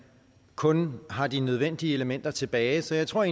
kun har de nødvendige elementer tilbage så jeg tror